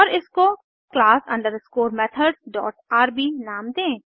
और इसको class underscore methods dot R B नाम दें